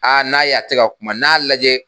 n'a y 'a a ti ga kuma n'a lajɛ